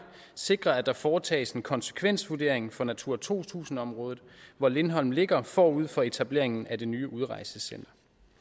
sikre at der foretages en konsekvensvurdering for natura to tusind området hvor lindholm ligger forud for etableringen af det nye udrejsecenter